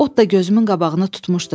Ot da gözümün qabağını tutmuşdu.